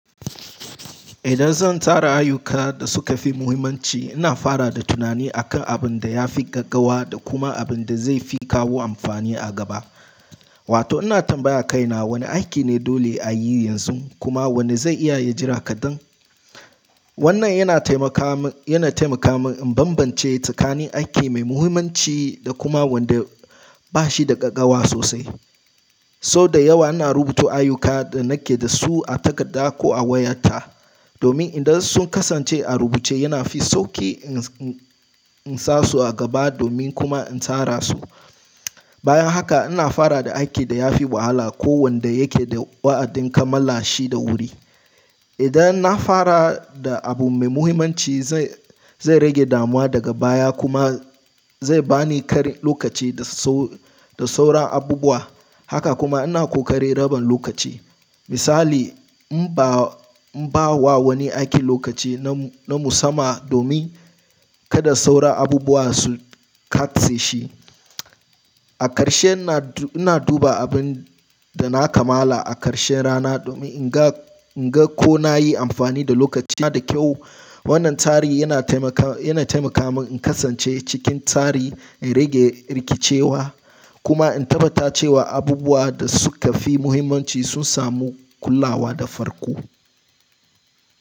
Idan zan tara ayuka da suka fi muhimmanci, ina fara da tunani akan abin da ya fi gaggawa da kuma abin da zai fi kawo amfani a gaba. Wato ina tambaya kaina wane aiki ne dole a yi yanzu kuma wanne zai iya ya jira kaɗan. Wannan yana taimaka min, yana taimaka min in banbance tsakanin aiki mai muhimmanci da kuma wanda ba shi da gaggawa sosai. Sau da yawa ina rubuta ayuka da nake da su a takarda ko a wayata, domin idan sun kasance a rubuce yana fi sauƙi in, in, in sa su a gaba domin kuma in tara su. Bayan haka ina fara da aiki da ya fi wahala ko wanda yake da wa'adin kamala shi da wuri. Idan na fara da abu mai muhimmanci zai, zai rage damuwa daga baya kuma zai ba ni ƙarin lokaci da so, da sauran abubuwa. Haka kuma ina ƙoƙari raba lokaci. Misali in ba, in ba wa wani aiki lokaci na, na musamman domin kada sauran abubuwa su katse shi. A ƙarshe ina, ina duba abin da na kamala a ƙarshen rana domin in ga, in ga ko na yi amfani da lokacina da kyau. Wannan tsari yana taimaka, yana taimaka min in kasance cikin tsari, in rage rikicewa kuma in tabbata cewa abubuwa da suka fi muhimmanci sun samu kulawa da farko.